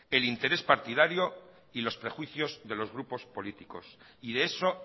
el interés partidario y los prejuicios de los grupos políticos y de eso